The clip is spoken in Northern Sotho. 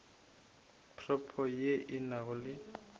propo ye e nago le